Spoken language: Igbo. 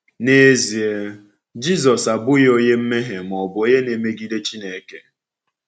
N'ezie, Jisọs abụghị onye mmehie ma ọ bụ onye na-emegide Chineke.